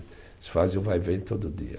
Eles fazem o vai-vem todo dia.